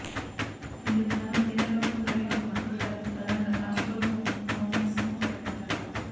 ఇందుకుగానూ కేంద్ర ప్రభుత్వం ప్రకటించిన మద్దతు ధరకు అదనంగా రాష్ట్ర ప్రభుత్వం బోనస్ను ప్రకటించాలి